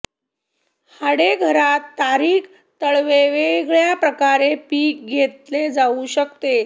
हाडे घरात तारीख तळवे वेगळ्या प्रकारे पीक घेतले जाऊ शकते